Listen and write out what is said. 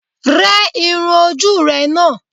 Yẹ irun ojú ú rẹ̀ ná!